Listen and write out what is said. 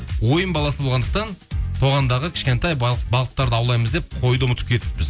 ойын баласы болғандықтан тоғандағы кішкентай балықарды аулаймыз деп қойды ұмытып кетіппіз